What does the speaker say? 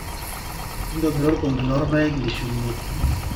ntobira orkombe loorpaek lishumie